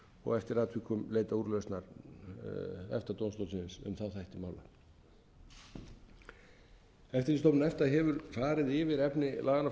og eftir atvikum leita úrlausnar efta dómstólsins um þá þætti mála eftirlitsstofnun efta hefur farið yfir efni laganna frá tvö